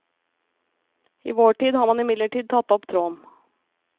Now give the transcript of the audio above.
I vår tid har man imidlertid tatt opp tråden.